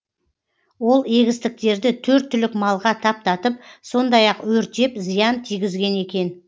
ол егістіктерді төрт түлік малға таптатып сондай ақ өртеп зиян тигізген екен